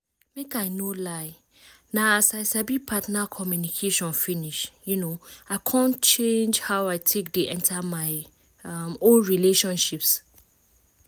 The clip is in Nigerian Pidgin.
make i no lie na as i sabi partner communication finish um i come change how i take dey enter my um own relationships